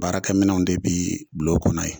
Baarakɛminw de bɛ bila kɔnɔ yen.